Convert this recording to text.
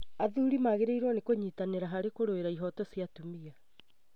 Athuri magĩrĩirwo nĩ kũnyitanĩra harĩ kũrũĩra ihoto cia atumia